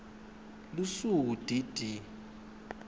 lusuku d d